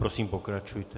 Prosím, pokračujte.